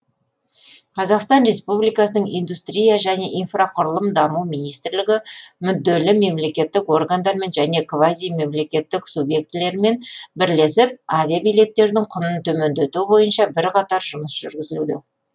қазақстан республикасының индустрия және инфрақұрылымдық даму министрлігі мүдделі мемлекеттік органдармен және квазимемлекеттік субъектілерімен бірлесіп авиабилеттердің құнын төмендету бойынша бірқатар жұмыс жүргізілуде